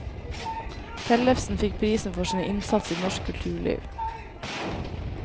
Tellefsen fikk prisen for sin innsats i norsk kulturliv.